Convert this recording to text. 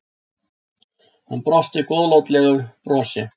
Hann brosir góðlátlegu brosi.